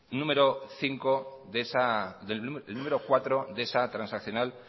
número cuatro de esa transaccional